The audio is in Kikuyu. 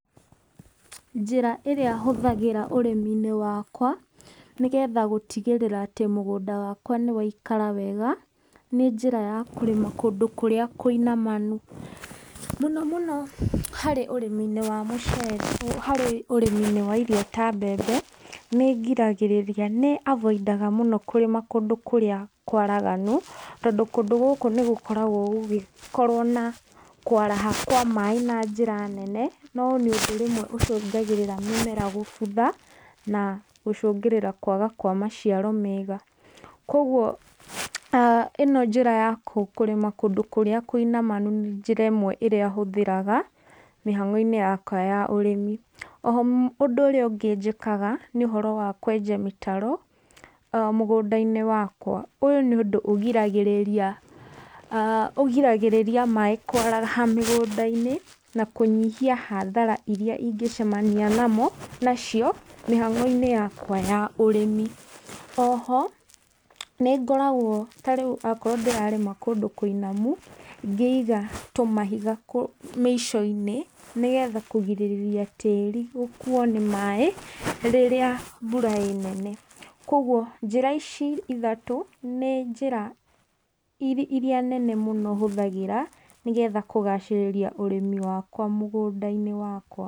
Njĩra ĩrĩa hũthagĩra ũrĩmi-inĩ wakwa nĩ getha gũtigĩrĩra atĩ mũgũnda wakwa nĩ waikara wega, nĩ njĩra ya kũrĩma kũndũ kũrĩa kũinamanu. Mũno mũno harĩ ũrĩmi-inĩ wa mũcere, harĩ ũrĩmi-inĩ wa irio ta mbembe nĩ ngiragĩrĩria, nĩ avoidaga mũno kũrĩma kũndũ kũrĩa kwaraganu, tondũ kũndũ gũkũ nĩ gũkoragwo gũgĩkorwo na kwaraha kwa maaĩ na njĩra nene, na ũyũ nĩ ũndũ rĩmwe ũcũngagĩrĩra mĩmera gũbutha, na gũcũngĩrĩra kwaga kwa maciaro mega. Kogwo ĩno njĩra ya kũrĩma kũndũ kũrĩa kũinamanu nĩ njĩra ĩmwe ĩrĩa hũthĩraga, mĩhang'o-inĩ yakwa ya ũrĩmi. Oho, ũndũ ũrĩa ũngĩ njĩkaga nĩ ũhoro wa kwenja mĩtaro mũgũnda-inĩ wakwa. Ũyũ nĩ ũndũ ũgiragĩrĩria maaĩ kwaraha mĩgũnda-inĩ, na kũnyihia hathara iria ingĩcamania nacio mĩhang'o-inĩ yakwa ya ũrĩmi. Oho, nĩ ngoragwo ta rĩu okorwo ndĩrarĩma kũndũ kũinamu ngĩiga tũmahiga mĩico-inĩ, nĩ getha kũgirĩrĩria tĩĩri gũkuo nĩ maaĩ rĩrĩa mbura ĩĩ nene. Kogwo, njĩra ici ithatũ nĩ njĩra iria nene mũno hũthagĩra nĩ getha kũgacĩrĩria ũrĩmi wakwa mũgũnda-inĩ wakwa.